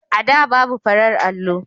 A da, babu farar allo.